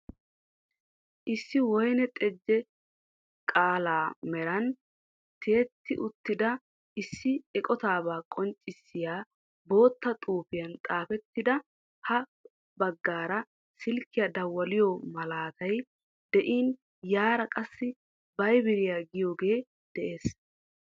Issi woyni teje qala meraan tiyetti uttida issi eqotaabaa qonccissiya bootta xuufiyaan xaafettida ha baggaara silkiya dawaliyo malattay de'iin yara qassi viber giyagee dees.